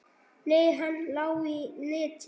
Nei, hann lá í netinu.